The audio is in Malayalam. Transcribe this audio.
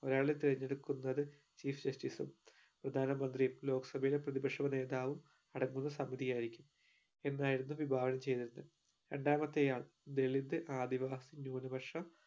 ഒരാളെ തിരഞ്ഞെടുക്കുന്നത് chief justice ഉം പ്രധാന മന്ത്രിയും ലോകസഭയിൽ പ്രതിപക്ഷ നേതാവും അടങ്ങുന്ന സമിതി ആയിരിക്കും എന്നായിരുന്നു വിഭാവനം ചെയ്‌തത് രണ്ടാമത്തെ ആൾ ദളിത് ആദിവാസി ന്യൂന പക്ഷ